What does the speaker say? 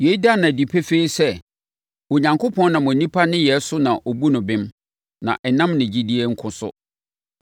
Yei da no adi pefee sɛ Onyankopɔn nam onipa nneyɛeɛ so na ɔbu no bem, na ɛnnam ne gyidie nko so.